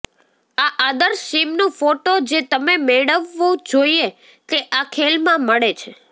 આ આદર્શ સીમનું ફોટો જે તમે મેળવવું જોઈએ તે આ લેખમાં મળે છે